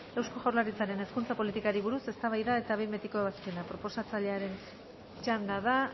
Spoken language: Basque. eusko jaurlaritzaren hezkuntza politikari buruz eztabaida eta behin betiko ebazpena proposatzailaren txanda da